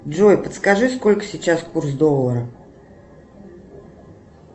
джой подскажи сколько сейчас курс доллара